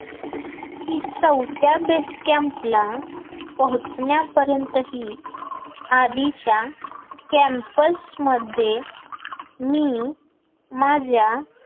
की चौथ्याला base camp ला पोहचण्या पर्यंतही आधीच्या camps मध्ये मी माझ्या